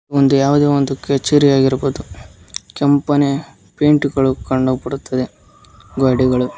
ಒಂದು ಯಾವುದೋ ಒಂದು ಕೆಚರಿಯಾಗಿರಬಹುದು ಕೆಂಪನೆ ಪೇಂಟ್ ಗಳು ಕಂಡುಬರುತ್ತದೆ ಗೋಡೆಗಳು.